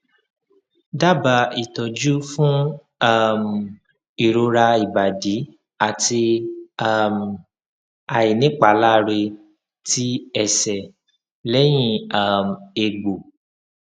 daba itoju fun um irora ibadi ati um ainipalare ti ese lehin um egbo